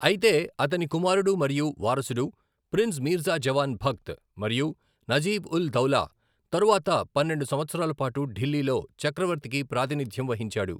అయితే అతని కుమారుడు మరియు వారసుడు ప్రిన్స్ మీర్జా జవాన్ భక్త్ మరియు నజీబ్ ఉల్ దౌలా తరువాత పన్నెండు సంవత్సరాల పాటు ఢిల్లీలో చక్రవర్తికి ప్రాతినిధ్యం వహించాడు.